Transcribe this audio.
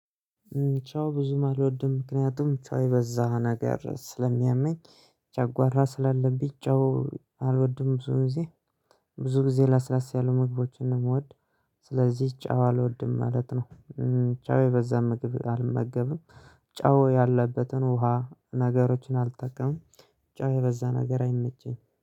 ጨው ብዙም አልወድም ምክንያቱም ጨው የበዛ ነገር ስለሚያመኝ። ጨጓራ ስላለብኝ ጨው አልወድም ብዙ ጊዜ ብዙ ጊዜ ለስለስ ያሉ ምግቦችን ነው የምወድ። ስለዚህ ጨው አልወድም ማለት ነው። ጨው የበዛ ምግብ አልመገብም። ጨው ያለበትን ውሃ ነገሮችን አልጠቀምም። ጨው የበዛ ነገር አይመቸኝ